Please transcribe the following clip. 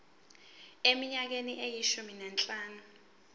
eminyakeni eyishumi nanhlanu